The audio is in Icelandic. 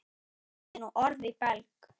Lagði nú orð í belg.